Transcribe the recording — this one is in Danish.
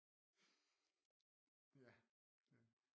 Ja